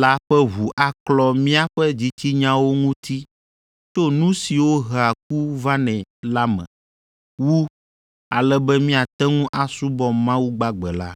la ƒe ʋu aklɔ míaƒe dzitsinyawo ŋuti tso nu siwo hea ku vanɛ la me wu, ale be míate ŋu asubɔ Mawu gbagbe la.